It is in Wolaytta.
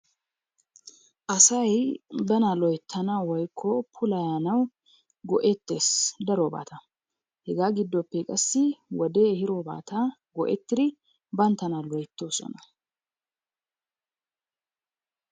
Asay bana loyttanawu woykko puulayannawu go'ettees darobata. Hegaa giddoppe qassi wodee ehiidorata go'ettiri banttana loyttoososna.